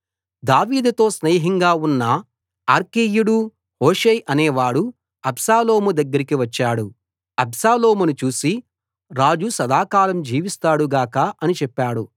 దావీదుతో స్నేహంగా ఉన్న అర్కీయుడు హూషై అనేవాడు అబ్షాలోము దగ్గరికి వచ్చాడు అబ్షాలోమును చూసి రాజు సదాకాలం జీవిస్తాడు గాక రాజు సదాకాలం జీవిస్తాడు గాక అని చెప్పాడు